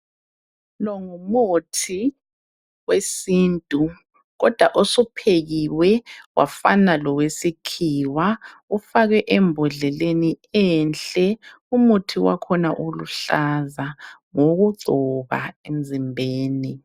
Lo ngumuthi wesintu kodwa osuphekiwe wafana lowesikhiwa, ufakwe embodleleni enhle. Umuthi wakhona uluhlaza, ngowokugcoba emzimbeni.